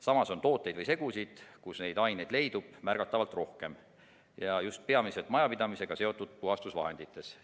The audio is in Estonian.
Samas, tooteid või segusid, kus neid aineid leidub, on märgatavalt rohkem, just peamiselt majapidamisega seotud puhastusvahendites.